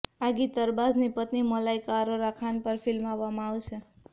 આ ગીત અરબાઝની પત્ની મલાઈકા અરોરા ખાન પર ફિલ્માવવામાં આવશે